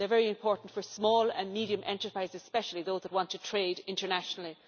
They are very important for small and medium enterprises, especially those that want to trade internationally.